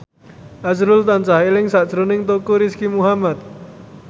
azrul tansah eling sakjroning Teuku Rizky Muhammad